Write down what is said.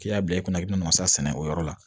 K'i y'a bila i kunna i bɛ nasa sɛnɛ o yɔrɔ la